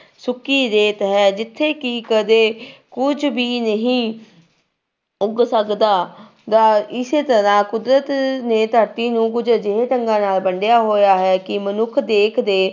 ਸੁੱਕੀ ਰੇਤ ਹੈ ਜਿੱਥੇ ਕਿ ਕਦੇ ਕੁੱਝ ਵੀ ਨਹੀਂ ਉੱਗ ਸਕਦਾ ਦਾ ਇਸੇ ਤਰ੍ਹਾਂ ਕੁਦਰਤ ਨੇ ਧਰਤੀ ਨੂੰ ਕੁੱਝ ਅਜਿਹੇ ਢੰਗਾਂ ਨਾਲ ਵੰਡਿਆ ਹੋਇਆ ਹੈ ਕਿ ਮਨੁੱਖ ਦੇਖਦੇ